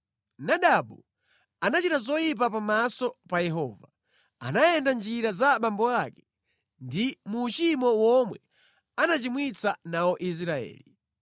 Nadabu anachita zoyipa pamaso pa Yehova, anayenda mʼnjira za abambo ake ndi mu uchimo womwe anachimwitsa nawo Israeli.